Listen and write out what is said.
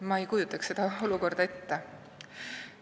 Ma ise ei kujutaks sellist olukorda ette.